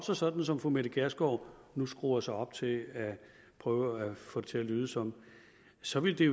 sig sådan som fru mette gjerskov nu skruer sig op til at prøve at få det til at lyde som så ville det